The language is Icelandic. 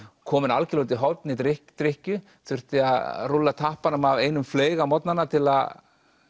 kominn algjörlega út í horn í drykkju drykkju þurfti að rúlla tappanum af einum fleyg á morgnanna til að